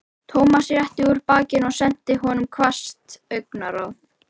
Thomas rétti úr bakinu og sendi honum hvasst augnaráð.